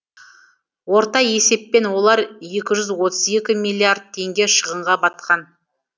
орта есеппен олар екі жүз отыз екі миллиард теңге шығынға батқан